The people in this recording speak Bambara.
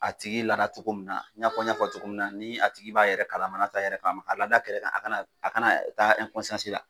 A tigi lada togo mun i n'a fɔ i y'a fɔ togo min na ni a tigi b'a yɛrɛ kalama n'a t'a yɛrɛ kalama ka lada a kɛrɛn a kana a kana taa ɛnkɔnsiyansi la